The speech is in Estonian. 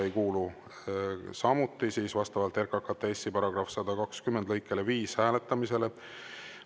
Ei kuulu samuti vastavalt RKKTS‑i § 120 lõikele 5 hääletamisele.